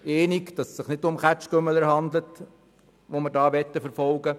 Wir wollen nicht Kaugummikauende verfolgen.